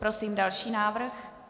Prosím další návrh.